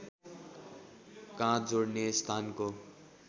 काँध जोडिने स्थानको